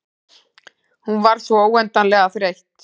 Hún var svo óendanlega þreytt.